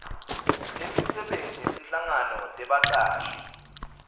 temisebenti netinhlangano tebacashi